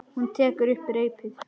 Hún tekur upp reipið.